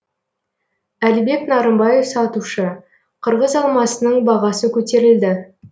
әлібек нарымбаев сатушы қырғыз алмасының бағасы көтерілді